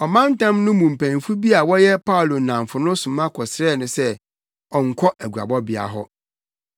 Ɔmantam no mu mpanyimfo bi a na wɔyɛ Paulo nnamfo no soma kɔsrɛɛ no sɛ ɔnkɔ aguabɔbea hɔ.